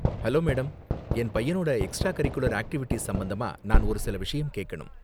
Hello madam, என் பையனோட extra curricular activities சம்பந்தமா நான் ஒருசில விஷயம் கேக்கணும்.